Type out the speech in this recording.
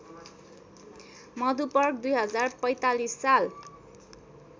मधुपर्क २०४५ साल